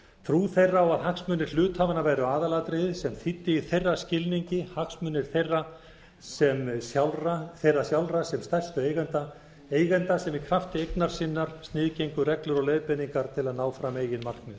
trú þeirra á að hagsmunir hluthafanna væru aðalatriðið sem þýddi í þeirra skilningi hagsmunir þeirra sjálfra sem stærstu eigenda eigenda sem í krafti eignar sinnar sniðgengu reglur og leiðbeiningar til að ná fram eigin markmiðum ég